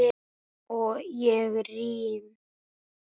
Og ég rym.